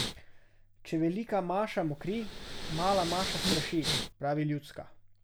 Če velika maša mokri, mala maša straši, pravi ljudska.